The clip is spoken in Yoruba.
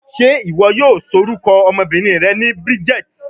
Ṣe iwọ yoo lorukọ ọmọbinrin rẹ Bridget?